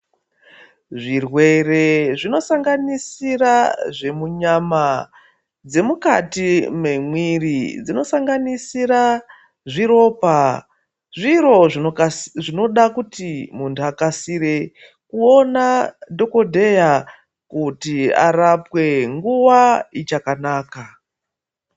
Zvirwere zvinosanganisira zvemunyama dzemukati memwiri dzinosanganisira zviropa zviro zvinoda kuti muntu akasire kuona dhokodheya kuti arapwe nguwa ichakanaka.